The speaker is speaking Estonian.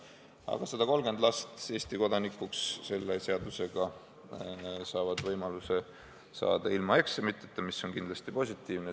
Aga 130 last saavad selle seadusega võimaluse saada Eesti kodanikuks ilma eksamiteta, mis on kindlasti positiivne.